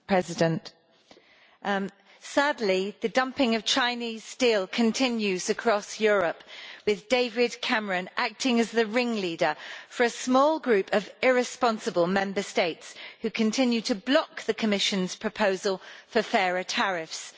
Madam President, sadly, the dumping of Chinese steel continues across Europe, with David Cameron acting as the ringleader for a small group of irresponsible Member States who continue to block the Commission's proposal for fairer tariffs.